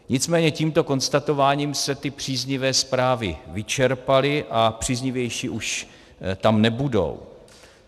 Nicméně tímto konstatováním se ty příznivé zprávy vyčerpaly a příznivější už tam nebudou.